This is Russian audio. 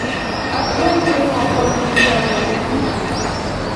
открой кино охота на дьявола